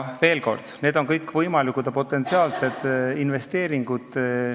Veel kord: need kõik on võimalikud ja potentsiaalsed investeeringud.